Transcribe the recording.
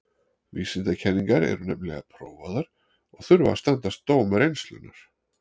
Vísindakenningar eru nefnilega prófaðar og þurfa að standast dóm reynslunnar.